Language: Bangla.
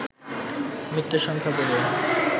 মৃতের সংখ্যা বেড়ে